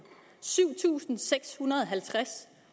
syv tusind seks hundrede og halvtreds